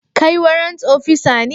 Kai warrant opisa ne?